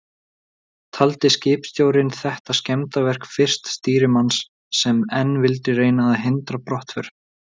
Taldi skipstjórinn þetta skemmdarverk fyrsta stýrimanns, sem enn vildi reyna að hindra brottför.